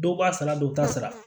Dɔw b'a sara dɔw t'a sara